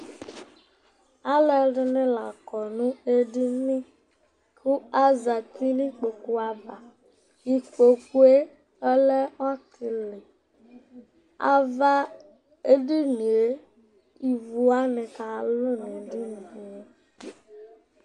Alʋ ɛdɩnɩ la akɔ nʋ edini, kʋ azǝtɩ nʋ ikpoku ava Ikpoku yɛ ɔlɛ ɔtɩlɩ Ivu nɩ akalʋ nʋ ava nʋ edini yɛ li